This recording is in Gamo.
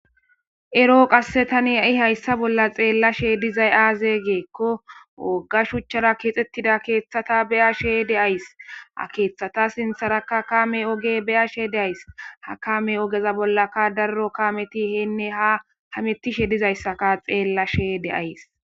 ero qasse tani ai hayssa bolla xeellashe dizay aaze geekko wogga shuchchara keexxettida keeththata beyashe de ays ha keeththata sintharaka kame oge beyashe deays ha kame ogeza bollaka darro kameti heenne ha ha mettishe dizayssaka xeellashe deays